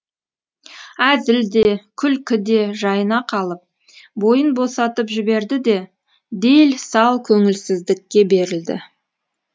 әзіл де күлкі де жайына қалып бойын босатып жіберді де дел сал көңілсіздікке берілді